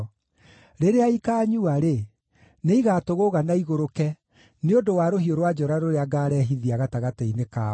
Rĩrĩa ikaanyua-rĩ, nĩigatũgũũga na igũrũke nĩ ũndũ wa rũhiũ rwa njora rũrĩa ngaarehithia gatagatĩ-inĩ kao.”